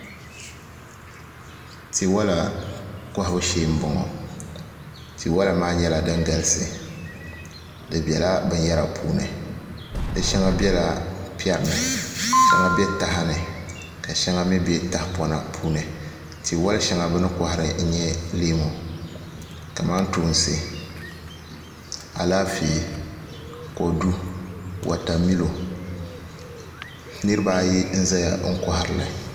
Tiwola kohabu shee n boŋo tiwola maa nyɛla din galisi di biɛla binyɛra puuni di shɛŋa biɛla piɛri ni ka shɛŋa bɛ taha ni ka shɛŋa mii bɛ tahapona puuni tiwoli shɛŋa bini kohari n nyɛ leemu kamantoosi Alaafee wotamilo niraba ayi n ʒɛya n koharili